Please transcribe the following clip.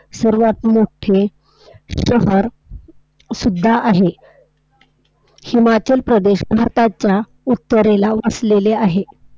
उमलत्या कळीला मोडायचा तिला नष्ट करण्याचा लहान जिवाला आपल्या आईला